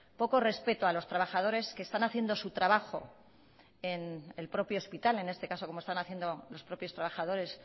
poco respeto a los trabajadores que están haciendo su trabajo en el propio hospital en este caso como están haciendo los propios trabajadores